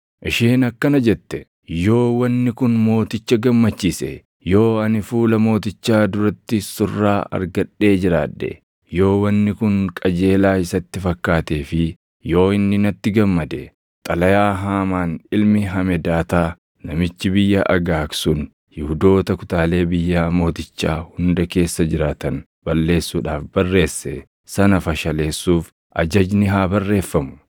Isheen akkana jette; “Yoo wanni kun mooticha gammachiise, yoo ani fuula mootichaa duratti surraa argadhee jiraadhe, yoo wanni kun qajeelaa isatti fakkaatee fi yoo inni natti gammade, xalayaa Haamaan ilmi Hamedaataa namichi biyya Agaag sun Yihuudoota kutaalee biyyaa mootichaa hunda keessa jiraatan balleessuudhaaf barreesse sana fashaleessuuf ajajni haa barreeffamu.